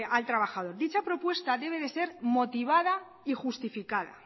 al trabajador dicha propuesta debe de ser motivada y justificada